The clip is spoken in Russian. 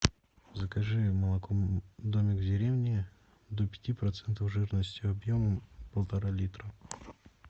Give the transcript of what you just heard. закажи молоко домик в деревне до пяти процентов жирности объемом полтора литра